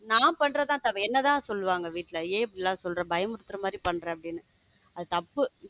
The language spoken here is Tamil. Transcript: நான் பண்றதுதான் என்னதான் தப்பு சொல்லுவாங்க ஏன் இப்படி எல்லாம் சொல்ற பயமுறுத்துற மாதிரி பண்ற அப்பிடின்னு அது தப்பு.